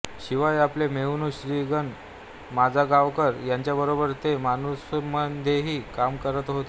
शिवाय आपले मेहुणे श्री ग माजगावकर यांच्याबरोबर ते माणूसमध्येही काम करत होते